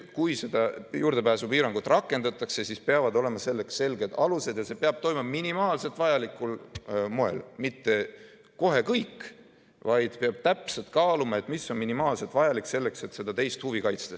Kui seda juurdepääsupiirangut rakendatakse, siis peavad olema selleks selged alused ja see peab toimuma minimaalselt vajalikul moel, mitte kohe kõik, vaid peab täpselt kaaluma, mis on minimaalselt vajalik selleks, et seda teist huvi kaitsta.